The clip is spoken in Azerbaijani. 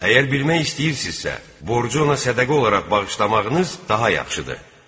Əgər bilmək istəyirsinizsə, borcu ona sədəqə olaraq bağışlamağınız daha yaxşıdır.